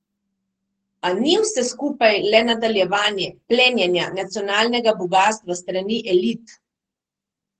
A ni vse skupaj le nadaljevanje plenjenja nacionalnega bogastva s strani elit?